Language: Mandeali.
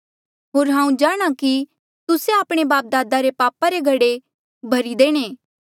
होर हांऊँ जाणा कि तुस्से आपणे बापदादा रे पापा रा घड़े भरी देणे